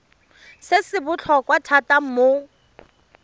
se se botlhokwa thata mo